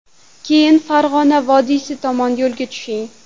Keyin Farg‘ona vodiysi tomon yo‘lga tushing.